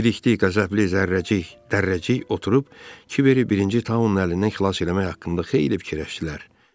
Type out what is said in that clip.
Bilikli, Qəzəbli, Zərrəcik, Dərrəcik oturub Kiberi birinci Taunun əlindən xilas eləmək haqqında xeyli fikirləşdilər.